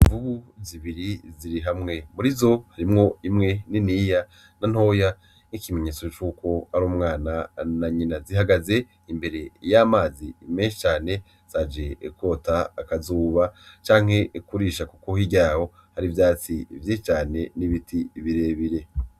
Imvubu zibiri ziri hamwe murizo harimwo imwe niniya na ntoya nk'ikimenyetso cuko ari umwana na nyina, zihagaze imbere y' 'amazi menshi cane zaje kwota akazuba canke kurisha kuko hirya yaho hari ivyatsi vyinshi cane n' ibiti bire bire.